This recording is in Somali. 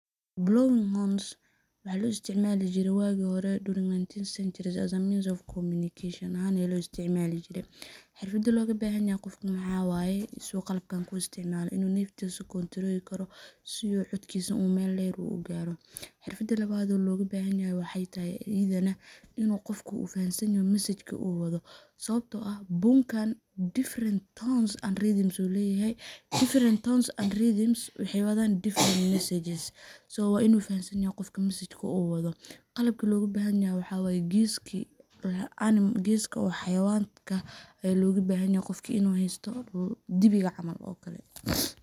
[Blowing horns waxaa lo isticmali jire wagi hore during 19th centuries as a means of communication ahan aa lo isticmali jire. Xirfadha logabahanyahay waxaa waye si u qalabkan kuisticmalo in uu neftisa kontroli karo sidu codkisa mel dher ugaro, mida lawad logabhanyahay waxaytahay idana in uu qofka fahansanyaho mesajka uu wadho, sababto ah bunkan different tones and rythms ayuu leyahay, different tones and rythms waxay wadhan different messages, so wa in uu fahansanyaho qofka mesajka uu wadho. qalabka logabanyaho waxa way geska xayawanka aa logabahanyahay in uu haysto, diwiga camal oo kale.